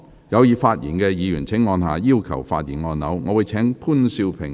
有意發言的議員請按下"要求發言"按鈕。